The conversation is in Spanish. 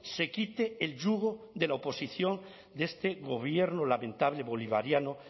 se quite el yugo de la oposición de este gobierno lamentable bolivariano